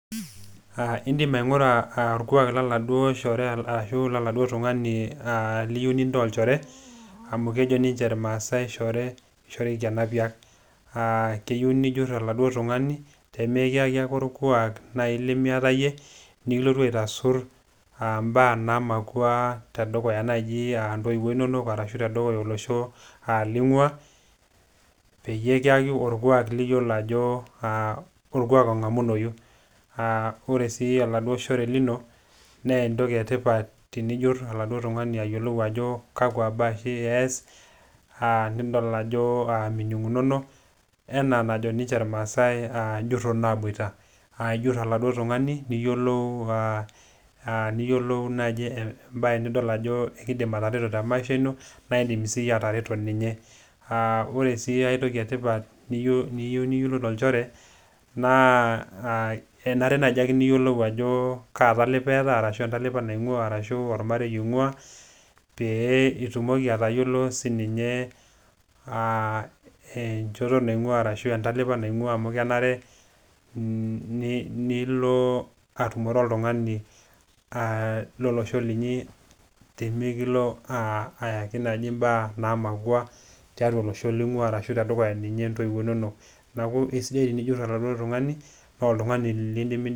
Aa indim aingura aa orkwak loladuoo shore ashu laladuootungani aa liyieu lintaa olchore amu kejo ninche irmaasae shore likishoriki enapiak. Aa keyieu nijur oladuoo tungani pemikiyaki ake orkwaak nai limiata iyie , nikilotu aitasur aa mbaa naamakwa naji aa ntoiwuo inonok ashu tedukuya olosho lingwaa peyie kiyaki orkwaak liyiolo ajo aa orkwaak longamunoyu. Aaa ore si oladuoo shore lino nnee entoki etipat tenijur oladuoo shore ajo kakwa baa oshi eas aa nidol ajo minungunono enaa enajo ninche irmaasae aa njuro naboita. Naa ijur oladuoo tungani , niyiolou a , niyiolou naji embae nidol ajo ekidim atareto te maisha naa indim siiyie atareto ninye. Aa ore sii ae toki etipat niyieu niyiolou tolchore naa enare najiake niyiolou ajo kaa talipa eeta arashu entalipa naingwaa arashu ormarei oingwaa peyie itumoki atayiolo enchoto naingwaa ashu entalipa naingwaa amu kenare nilo atumore oltungani lolosho linyi pemikilo ayaki naji imbaa naamakwa tedukuya olosho ashuaa tedukuya ninye ntoiwuo inonok. Niaku kisidaitenijur oladuoo tungani noo oltungani lindimi..